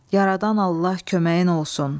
Yaradan Allah köməyin olsun.